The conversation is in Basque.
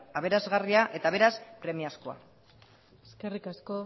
aberasgarria eta beraz premiazkoa eskerrik asko